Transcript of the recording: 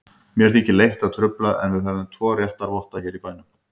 Mér þykir leitt að trufla, en við höfum tvo réttarvotta hér í bænum.